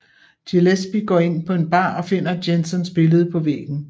Gillespie går ind på en bar og finder Jensons billede på væggen